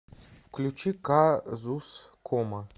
включи казускома